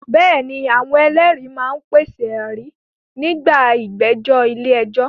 Bẹ́ẹ̀ ni, àwọn ẹlẹ́rìí máa ń pèsè ẹ̀rí nígbà ìgbẹ́jọ́ ilé ẹjọ́